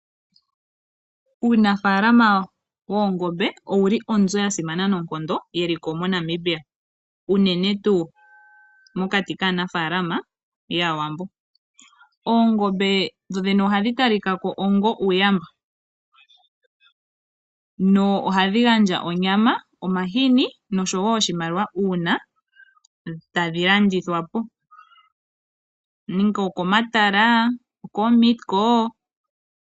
Uunafaalama woongombe owuli onzo yasimana noonkondo yeliko moNamibia unene tuu mokati kaanafaalama yAawambo. Oongombe ohadhi talikako ongo uuyamba . Ohadhi gandja onyama, omahini noshowoo oshimaliwa uuna tadhi landithwapo komatala nenge koMeat Co.